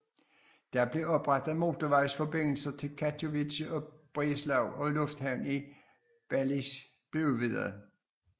Der blev oprettet motorvejsforbindelser til Katowice og Breslau og lufthavnen i Balice blev udvidet